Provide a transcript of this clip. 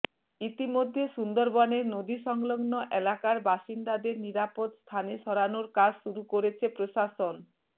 ইতিমধ্যে সুন্দরবনের নদী সংলগ্নে এলাকার বাসিন্দাদের নিরাপদ স্থানে সরানোর কাজ শুরু করেছে প্রশাসন